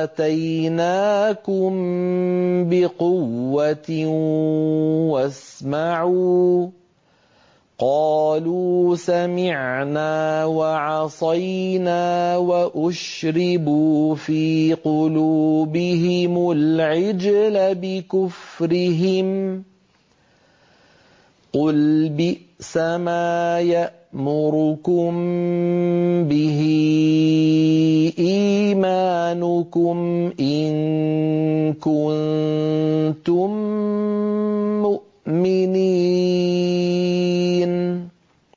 آتَيْنَاكُم بِقُوَّةٍ وَاسْمَعُوا ۖ قَالُوا سَمِعْنَا وَعَصَيْنَا وَأُشْرِبُوا فِي قُلُوبِهِمُ الْعِجْلَ بِكُفْرِهِمْ ۚ قُلْ بِئْسَمَا يَأْمُرُكُم بِهِ إِيمَانُكُمْ إِن كُنتُم مُّؤْمِنِينَ